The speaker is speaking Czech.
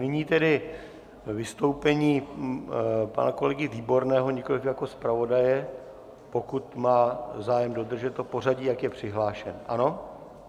Nyní tedy vystoupení pana kolegy Výborného, nikoliv jako zpravodaje, pokud má zájem dodržet to pořadí, jak je přihlášen, ano?